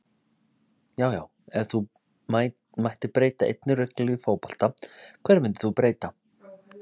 Já já Ef þú mættir breyta einni reglu í fótbolta, hverju myndir þú breyta?